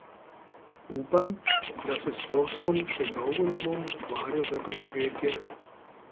Upam, da se s poslom še dolgo ne bom ukvarjal za preživetje.